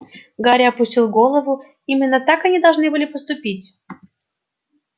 гарри опустил голову именно так они должны были поступить